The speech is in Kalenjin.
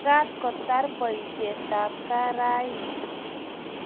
Magaat kotar boisietab gaa raini